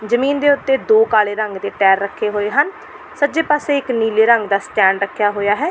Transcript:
ਜਮੀਨ ਦੇ ਉੱਤੇ ਦੋ ਕਾਲੇ ਰੰਗ ਦੇ ਟਾਇਰ ਰੱਖੇ ਹੋਏ ਹਨ ਸੱਜੇ ਪਾਸੇ ਇੱਕ ਨੀਲੇ ਰੰਗ ਦਾ ਸਟੈਂਡ ਰੱਖਿਆ ਹੋਇਆ ਹੈ।